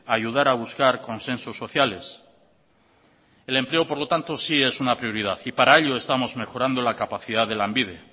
ayudar a buscar consensos sociales el empleo por lo tanto si es una prioridad y para ello estamos mejorando la capacidad de lanbide